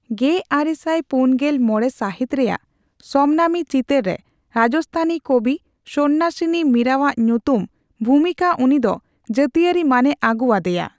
ᱜᱮᱟᱨᱮᱥᱟᱭ ᱯᱩᱱᱜᱮᱞ ᱢᱚᱲᱮ ᱥᱟᱹᱦᱤᱛ ᱨᱮᱭᱟᱜ ᱥᱚᱢᱱᱟᱢᱤ ᱪᱤᱛᱟᱹᱨ ᱨᱮ ᱨᱟᱡᱚᱥᱛᱷᱟᱱᱤ ᱠᱚᱵᱤᱼᱥᱚᱱᱱᱟᱥᱤᱱᱤ ᱢᱤᱨᱟᱣᱟᱜ ᱧᱩᱛᱩᱢ ᱵᱷᱩᱢᱤᱠᱟ ᱩᱱᱤ ᱫᱚ ᱡᱟᱛᱤᱭᱟᱹᱨᱤ ᱢᱟᱹᱱ ᱮ ᱟᱹᱜᱩᱣᱟᱫᱮᱭᱟ ᱾